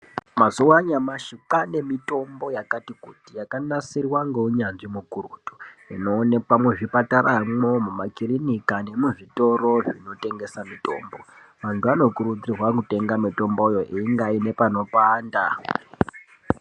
Mazuva anyamashi kwaane mitombo yakati kuti yakanasirwa ngeunyanzvi mukurutu, inoonekwa muzvipataramwo, mumakirinika nemuzvitoro zvinotengesa mitombo, antu anokurudzirwa kutenga mitomboyo einga ane panopanda.